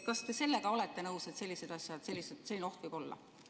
Kas te sellega olete nõus, et selline oht võib olla?